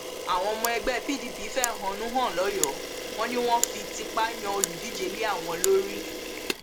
àwọn ọmọ ẹgbẹ pdp fẹhónú hàn l ọyọọ wọn ni wọn fi tipa yan olùdíje lé àwọn lórí